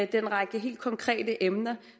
den række helt konkrete emner